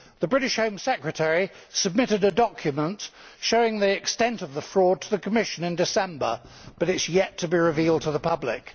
The British Home Secretary submitted a document showing the extent of the fraud to the Commission in December, but it is yet to be revealed to the public.